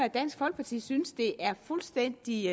at dansk folkeparti synes det er fuldstændig